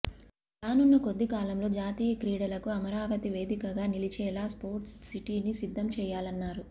రానున్న కొద్దికాలంలో జాతీయ క్రీడలకు అమరావతి వేదికగా నిలిచేలా స్పోర్ట్స్ సిటీని సిద్ధం చేయాలన్నారు